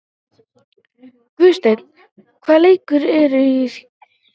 Guðsteinn, hvaða leikir eru í kvöld?